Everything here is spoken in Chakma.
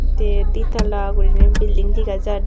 tey di talla guriney building degajar.